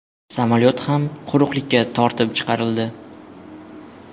Samolyot ham quruqlikka tortib chiqarildi.